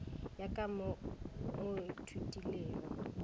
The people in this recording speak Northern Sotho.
ya ka mo o ithutilego